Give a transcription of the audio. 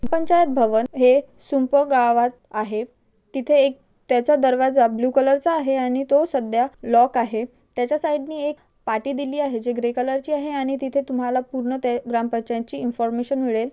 पंचायत भवन हे शिंपो गावात आहे. तिथ एक त्याचा दरवाजा ब्ल्यु कलरचा आहे. आणि तो सध्या लॉक आहे. त्याच्या साईडनी एक पाटी दिली आहे. जे ग्रे कलर ची आहे. आणि तेथे तुम्हाला पूर्ण ते ग्रामपंचायतची इफाँर्मेशन मिळेल.